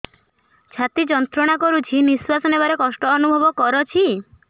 ଛାତି ଯନ୍ତ୍ରଣା କରୁଛି ନିଶ୍ୱାସ ନେବାରେ କଷ୍ଟ ଅନୁଭବ କରୁଛି